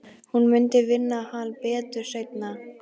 Hún mundi vinna hann betur seinna.